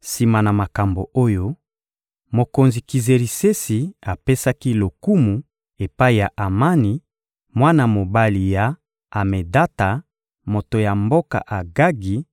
Sima na makambo oyo, mokonzi Kizerisesi apesaki lokumu epai ya Amani, mwana mobali ya Amedata, moto ya mboka Agagi;